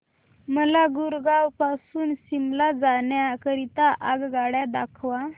मला गुरगाव पासून शिमला जाण्या करीता आगगाड्या दाखवा